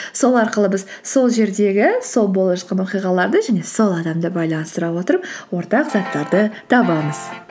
сол арқылы біз сол жердегі сол болып жатқан оқиғаларды және сол адамды байланыстыра отырып ортақ заттарды табамыз